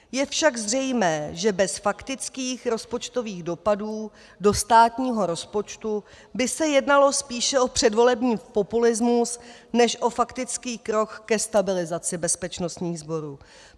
Je však zřejmé, že bez faktických rozpočtových dopadů do státního rozpočtu by se jednalo spíše o předvolební populismus než o faktický krok ke stabilizaci bezpečnostních sborů.